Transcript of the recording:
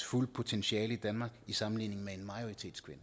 fulde potentiale i danmark i sammenligning med en majoritetskvinde